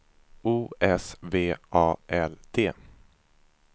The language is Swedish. O S V A L D